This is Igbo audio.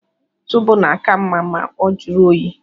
Zobo na-aka mma ma ọ jụrụ oyi.